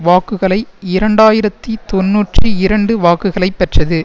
வாக்குகளைஇரண்டாயிரத்தி தொன்னூற்றி இரண்டு வாக்குகளை பெற்றது